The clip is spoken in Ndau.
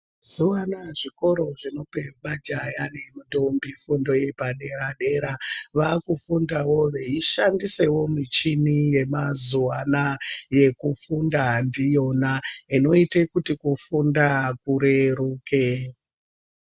Mazuva anaya zvikoro zvinope majaya nendombi fundo yepadera-dera, vakufundavo veishandisewo michini yemazuwa anaya yekufunda ndiyona inoite kuti kufunda kureruke.